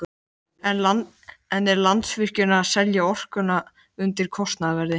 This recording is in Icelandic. En er Landsvirkjun að selja orkuna undir kostnaðarverði?